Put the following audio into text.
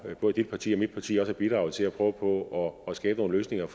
både dit parti og mit parti har bidraget til at prøve på at skabe nogle løsninger